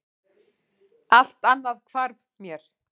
Allt annað hvarf mér.